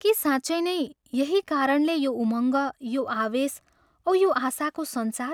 के साँच्चै नै यही कारणले यो उमङ्ग, यो आवेश औ यो आशाको सञ्चार?